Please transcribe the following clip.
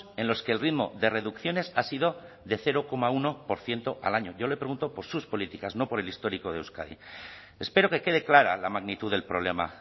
en los que el ritmo de reducciones ha sido de cero coma uno por ciento al año yo le pregunto por sus políticas no por el histórico de euskadi espero que quede clara la magnitud del problema